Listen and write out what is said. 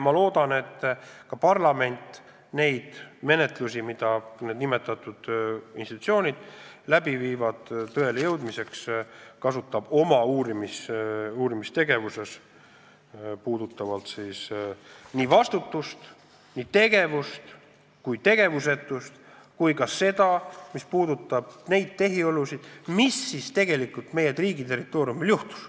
Ma loodan, et parlament kasutab neid menetlusi, mida nimetatud institutsioonid tõe väljaselgitamiseks teevad, oma uurimistegevuses, mis puudutab vastutust, nii tegevust kui tegevusetust, samuti tehiolusid ja me saame teada, mis siis tegelikult meie riigi territooriumil juhtus.